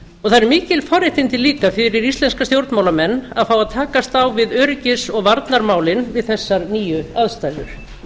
það eru mikil forréttindi líka fyrir íslenska stjórnmálamenn að fá að takast á við öryggis og varnarmálin við þessar nýju aðstæður